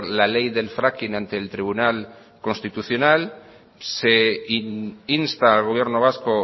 la ley del fracking ante el tribunal constitucional se insta al gobierno vasco